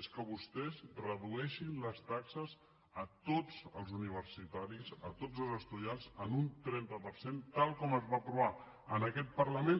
és que vostès redueixin les taxes a tots els universitaris a tots els estudiants en un trenta per cent tal com es va aprovar en aquest parlament